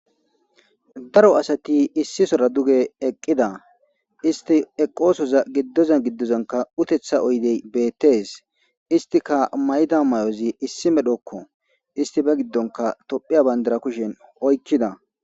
Daro asti issi sohora duge eqidda istti eqqosoza gidoza gidozankka utetha oyde beetes istikka mayida maayozi issi medhokko. Issipe toophiya bandirra kushen oykida